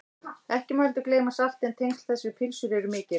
ekki má heldur gleyma salti en tengsl þess við pylsur eru mikil